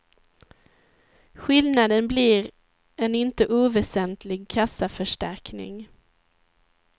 Skillnaden blir en inte oväsentlig kassaförstärkning.